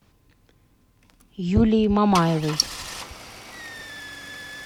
юлии мамаевой